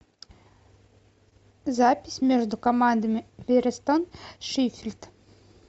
запись между командами перестон шеффилд